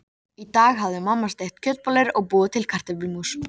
Í dag hafði mamma steikt kjötbollur og búið til kartöflumús.